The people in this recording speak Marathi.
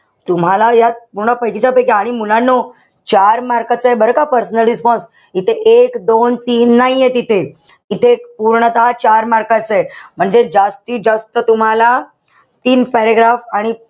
तुम्हाला यात पूर्ण पैकीच्या पैकी. आणि मुलांनो चार mark चय बरं का personal response. इथे एक-दोन-तीन नाहीये तिथे. इथे पूर्णतः चार mark चय. म्हणजे जास्तीत जास्त तुम्हाला तीन paragraph आणि,